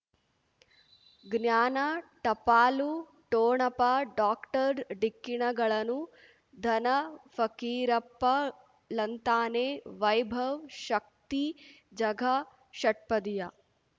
ಜ್ಞಾನ ಟಪಾಲು ಠೋಣಪ ಡಾಕ್ಟರ್ ಢಿಕ್ಕಿ ಣಗಳನು ಧನ ಫಕೀರಪ್ಪ ಳಂತಾನೆ ವೈಭವ್ ಶಕ್ತಿ ಝಗಾ ಷಟ್ಪದಿಯ